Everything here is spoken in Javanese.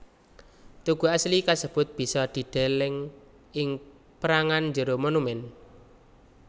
Tugu asli kasebut bisa dideleng ing pérangan jero monumèn